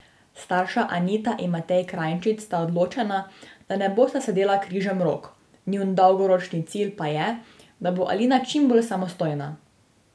Starša Anita in Matej Krajnčič sta odločena, da ne bosta sedela križem rok, njun dolgoročni cilj pa je, da bo Alina čim bolj samostojna.